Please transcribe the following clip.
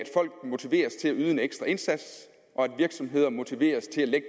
folk motiveres til at yde en ekstra indsats og at virksomheder motiveres til at